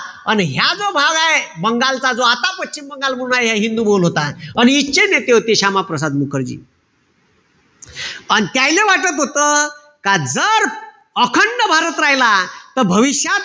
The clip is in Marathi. अन ह्या जो भाग हाये, बंगालचा जो आता पश्चिम बंगाल म्हणून हाये ह्या हिंदू होता, आणि तिथंचे नेते होते क्षमाप्रसाद मुखर्जी. अन त्याईले वाटत होत, का जर अखंड भारत राहिला. त भविष्यात,